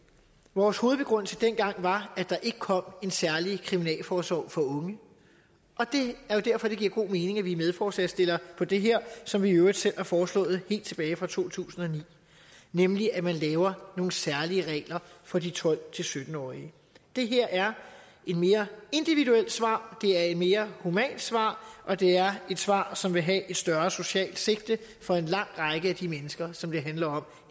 vores hovedbegrundelse dengang var at der ikke kom en særlig kriminalforsorg for unge og det er jo derfor det giver god mening at vi er medforslagsstillere på det her som vi i øvrigt selv har foreslået helt tilbage fra to tusind og ni nemlig at man laver nogle særlige regler for de tolv til sytten årige det her er et mere individuelt svar det er et mere humant svar og det er et svar som vil have et større socialt sigte for en lang række af de mennesker som det handler om